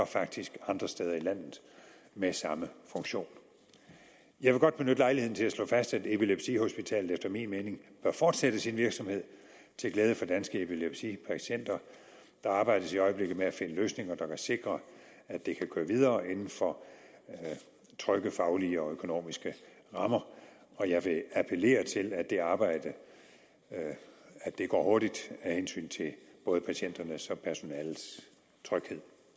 faktisk andre steder i landet med samme funktion jeg vil godt benytte lejligheden til at slå fast at epilepsihospitalet efter min mening bør fortsætte sin virksomhed til glæde for danske epilepsipatienter der arbejdes i øjeblikket med at finde løsninger der kan sikre at det kan køre videre inden for trygge faglige og økonomiske rammer og jeg vil appellere til at det arbejde går hurtigt af hensyn til både patienternes og personalets tryghed